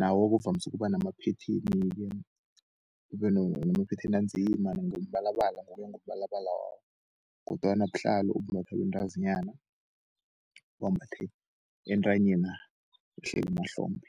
lawo okuvamise ukuba namaphetheni-ke. Ubenamaphetheni anzima ngombalabala ngokuya ngombalabala wawo, kodwana buhlalo obumbathwa bentazinyana bambathe entanyeni na, wehlele emahlombe.